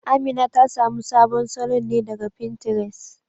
Amina ta samu salon ne daga Fintires